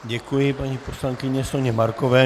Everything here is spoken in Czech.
Děkuji paní poslankyni Soně Markové.